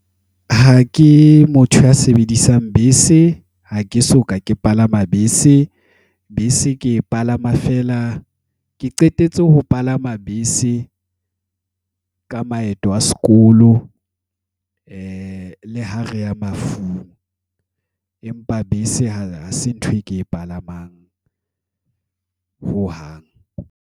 Ha ke motho ya sebedisang bese, ha ke soka ke palama bese. Bese ke e palama feela, ke qetetse ho palama bese ka maeto a sekolo le ha reya mafung. Empa bese ha se ntho e ke e palamang hohang.